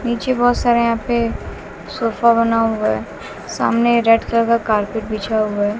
नीचे बहोत सारे यहां पे सोफा बना हुआ है सामने रेड कलर का कारपेट बिछा हुआ है।